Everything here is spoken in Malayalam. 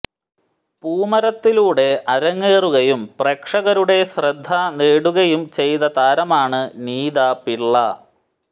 പൂമരത്തിലൂടെ അരങ്ങേറുകയും പ്രേക്ഷകരുടെ ശ്രദ്ധ നേടുകയും ചെയ്ത താരമാണ് നീത പിള്ള